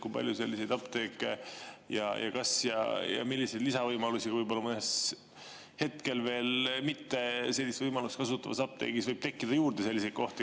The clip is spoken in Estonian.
Kui palju on selliseid apteeke ja milliseid lisavõimalusi mõnes hetkel veel mitte sellist võimalust kasutavas apteegis võib juurde tekkida?